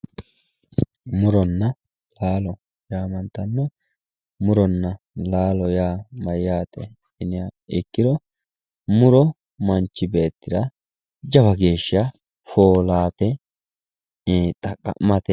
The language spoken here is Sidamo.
Muronna laalo yamantanohu ,muronna laalo yaa mayate yiniha ikkiro muro manchi beettira jawa geeshsha foolate i'ii xaqamate